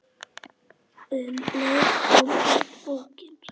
Um leið kom út bókin